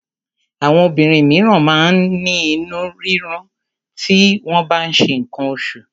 Àwọn obìnrin míràn máa ń ní inú rírun ti wọ́n bá ń ṣe nǹkan oṣù.